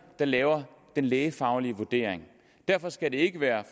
der laver den lægefaglige vurdering derfor skal det ikke være